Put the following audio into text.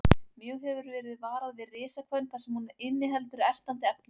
Mjög hefur verið varað við risahvönn þar sem hún inniheldur ertandi efni.